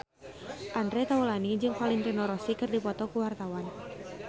Andre Taulany jeung Valentino Rossi keur dipoto ku wartawan